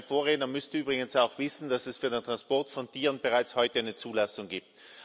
Mein Vorredner müsste übrigens auch wissen, dass es für den Transport von Tieren bereits heute eine Zulassung gibt.